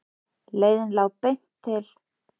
Leiðin lá beint til